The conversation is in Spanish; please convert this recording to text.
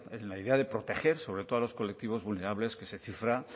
en la idea de proteger sobre todo a los colectivos vulnerables que